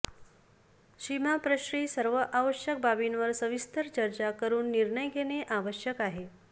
सीमाप्रश्नी सर्व आवश्यक बाबींवर सविस्तर चर्चा करून निर्णय घेणे आवश्यक आहे